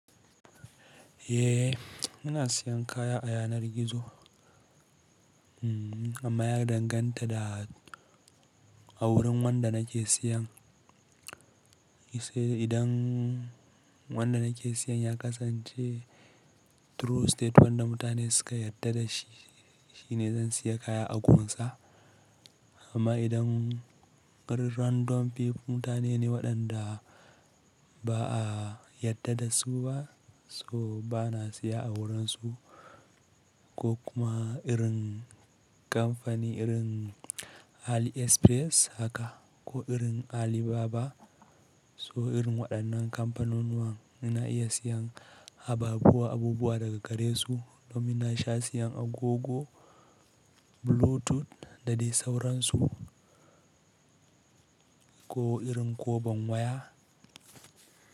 Eh, muna siyan kaya a yanar gizo. Amma ya danganta da a wurin wanda nake siyan. Sai idan wanda nake siyan ya kasance true state wanda mutane suka yarda da shi, shine zan siya kaya a gurinsa amma idan ƙarin random people mutane ne waɗanda ba a yarda da su ba, so ba na siya a wurin su ko kuma irin kamfani irin AliExpress haka ko irin Alibaba. So irin waɗannan kamfanonuwan nan muna iya siyan abubuwa, abubuwa daga gare su. Domin na sha siyan agogo bluetooth da dai sauransu ko irin koban waya.